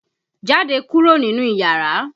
Jáde kúrò nínú iyàrá!